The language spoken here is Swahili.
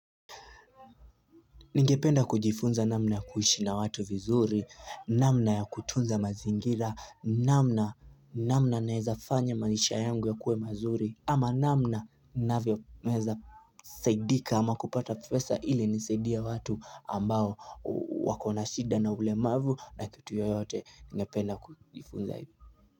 Ningependa kujifunza namna ya kuishi na watu vizuri, namna ya kutunza mazingira, namna naeza fanya maisha yangu yakuwe mazuri ama namna naeza saidika ama kupata pesa ili nisaidie watu ambao wakona shida na ulemavu na kitu yoyote ningependa kujifunza hivyo.